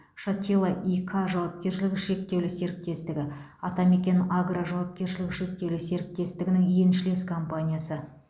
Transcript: шатило и к жауапкершілігі шектеулі серіктестігі атамекен агро жауапкершілігі шектеулі серіктестігінің еншілес компаниясы